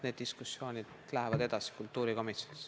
Need diskussioonid lähevad edasi kultuurikomisjonis.